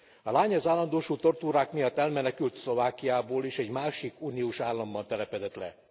A lány az állandósult tortúrák miatt elmenekült Szlovákiából és egy másik uniós államban telepedett le.